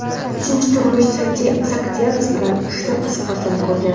Uchinchi turmushi Sati Saakyanats bilan uchta qiz farzand ko‘rgan.